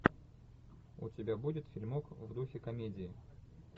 у тебя будет фильмок в духе комедии